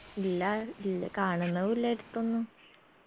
ഇല്ലാ ഇല് കാണുന്നു ഇല്ല അടുത്തൊന്നും